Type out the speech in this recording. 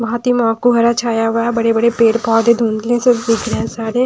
बहोत को हरा छाया हुआ है बड़े बड़े पेड़ पौधे धुंधले से दिख रहे हैं सारे--